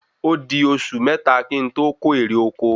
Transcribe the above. ódi osu mẹ́ta kí n to ko èrè oko